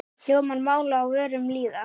Hljómar mál á vörum lýða.